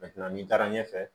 n'i taara ɲɛfɛ